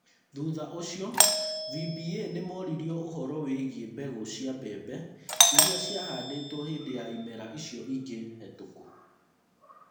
Thutha ũcio, VBA nĩ moririo ũhoro wĩgiĩ mbegũ cia mbembe iria ciahandĩtwo hĩndĩ ya ĩmera icio ingĩ hetũku.